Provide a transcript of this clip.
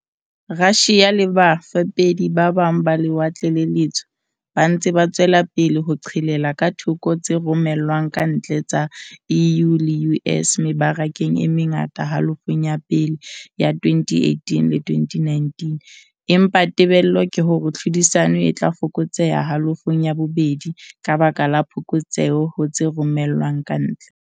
Russia le bafepedi ba bang ba Lewatle le Letsho ba ntse ba tswela pele ho qhelela ka thoko tse romellwang ka ntle tsa EU le U.S. mebarakeng e mengata halofong ya pele ya 2018-2019 empa tebello ke hore tlhodisano e tla fokotseha halofong ya bobedi ka baka la phokotseho ho tse romellwang ka ntle.